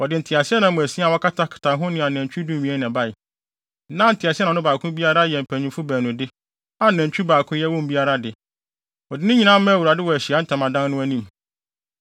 Wɔde nteaseɛnam asia a wɔakatakata ho ne anantwi dumien na ɛbae. Na nteaseɛnam no baako biara yɛ mpanyimfo baanu de, a nantwi baako yɛ wɔn mu biara de. Wɔde ne nyinaa maa Awurade wɔ Ahyiae Ntamadan no anim.